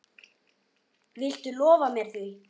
Viltu lofa mér því?